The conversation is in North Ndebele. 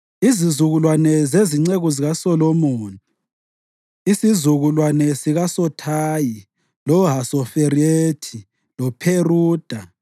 Izizukulwane zezinceku zikaSolomoni: isizukulwane sikaSothayi, loHasoferethi, loPheruda,